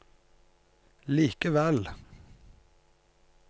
likevel